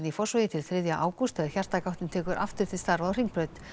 í Fossvogi til þriðja ágúst þegar hjartagáttin tekur aftur til starfa á Hringbraut